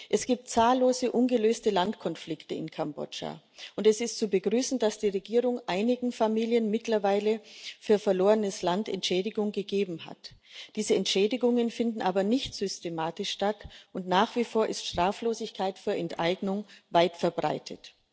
Es gibt zahllose ungelöste Landkonflikte in Kambodscha ,und es ist zu begrüßen, dass die Regierung einigen Familien mittlerweile für verlorenes Land Entschädigung gegeben hat. Diese Entschädigungen finden aber nicht systematisch statt, und nach wie vor ist Straflosigkeit für Enteignung weit verbreitet.